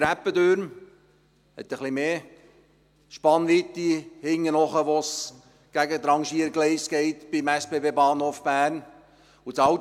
Es hat etwas mehr Spannweite dort hinten, wo es beim SBB-Bahnhof Bern Richtung Rangiergleise geht.